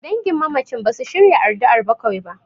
Dangin mamacin basu shirya addu'ar bakwai ba.